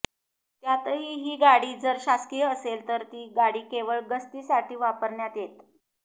त्यातही ही गाडी जर शासकीय असेल तर ती गाडी केवळ गस्तीसाठी वापरण्यात येतं